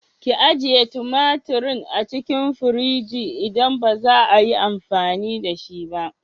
Ki ajiye tumaturin a cikin firigi idan baza 'a yi amfani da shi ba.